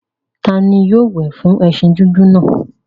Ta ni yóò wẹ̀ fún ẹṣin dúdú náà?